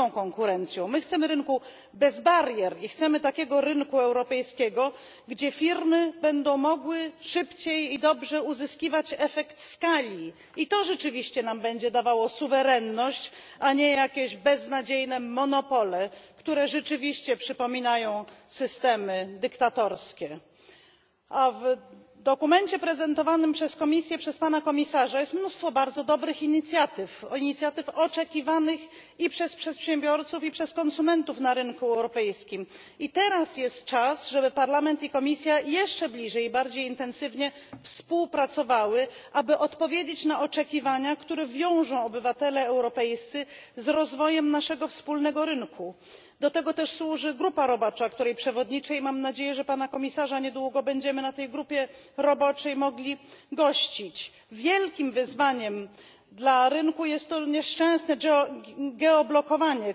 Może najpierw jednak jeszcze kilka słów do mojego przedmówcy, który tak się zachowuje, jakby nie wiedział, że monopol godzi w interes nie tylko rynku, ale godzi w interes konsumenta. A my chcemy rynku z konkurencją, prawdziwą konkurencją. My chcemy rynku bez barier i chcemy takiego rynku europejskiego, gdzie firmy będą mogły szybciej i dobrze uzyskiwać efekt skali. I to rzeczywiście nam będzie dawało suwerenność, a nie jakieś beznadziejne monopole, które rzeczywiście przypominają systemy dyktatorskie. W dokumencie prezentowanym przez Komisję, przez pana komisarza, jest mnóstwo bardzo dobrych inicjatyw inicjatyw oczekiwanych i przez przedsiębiorców, i przez konsumentów na rynku europejskim i teraz jest czas, żeby Parlament i Komisja jeszcze bliżej i bardziej intensywnie współpracowały, aby odpowiedzieć na oczekiwania, które wiążą obywatele europejscy z rozwojem naszego wspólnego rynku. Do tego też służy grupa robocza, której przewodniczę i mam nadzieję, że pana komisarza niedługo będziemy na tej grupie roboczej mogli gościć. Wielkim wyzwaniem dla rynku jest to nieszczęsne geoblokowanie,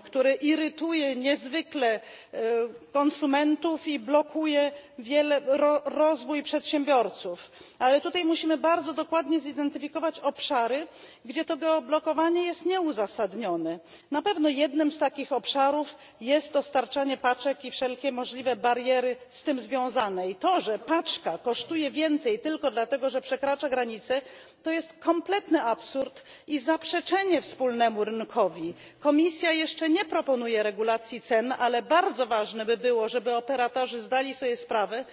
które irytuje niezwykle konsumentów i blokuje rozwój przedsiębiorców. Tutaj jednak musimy bardzo dokładnie zidentyfikować obszary, gdzie to geoblokowanie jest nieuzasadnione. Na pewno jednym z takich obszarów jest dostarczanie paczek i wszelkie możliwe bariery z tym związane. To, że paczka kosztuje więcej tylko dlatego, że przekracza granicę, to jest kompletny absurd i zaprzeczenie wspólnemu rynkowi. Komisja jeszcze nie proponuje regulacji cen, ale bardzo ważne by było, żeby operatorzy zdali sobie sprawę